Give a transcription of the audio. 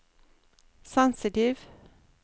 sensitiv